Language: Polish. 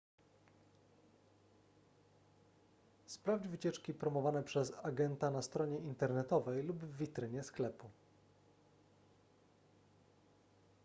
sprawdź wycieczki promowane przez agenta na stronie internetowej lub w witrynie sklepu